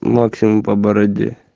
максим по бороде